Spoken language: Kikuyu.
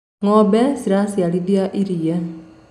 ngo'ombe ciraaciarithia iria